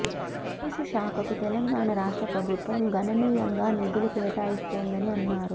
police శాఖకు తెలంగాణ రాష్ట్ర ప్రభుత్వం ఘననీయంగా నిధులు కేటాయిస్తోందని అన్నారు